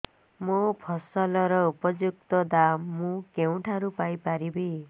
ମୋ ଫସଲର ଉପଯୁକ୍ତ ଦାମ୍ ମୁଁ କେଉଁଠାରୁ ପାଇ ପାରିବି